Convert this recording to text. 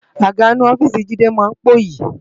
Àgá inú òfìsí Jide má n póyi